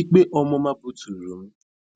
Ikpe ọmụma buturu m,